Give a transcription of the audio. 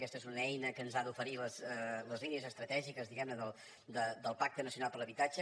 aquesta és una eina que ens ha d’oferir les línies estratègiques del pacte nacional per a l’habitatge